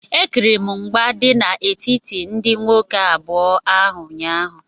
Ekiriri m mgba dị n'etiti ndị nwoke abụọ ahụ ụnyaahụ